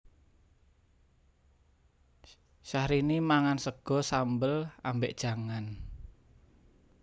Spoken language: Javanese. Syahrini mangan sego sambel ambek jangan